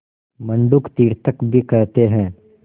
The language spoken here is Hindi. मंडूक तीर्थक भी कहते हैं